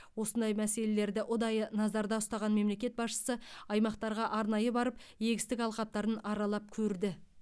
осындай мәселелерді ұдайы назарда ұстаған мемлекет басшысы аймақтарға арнайы барып егістік алқаптарын аралап көрді